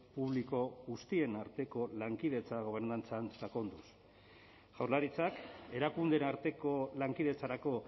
publiko guztien arteko lankidetza gobernantzan sakonduz jaurlaritzak erakundeen arteko lankidetzarako